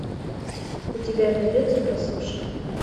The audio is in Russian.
у тебя найдется прослушка